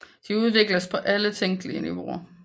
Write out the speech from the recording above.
De udvikles på alle tænkelige niveauer